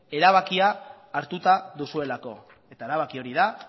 erabakia hartuta duzuelako eta erabaki hori da